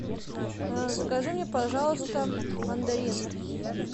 закажи мне пожалуйста мандарин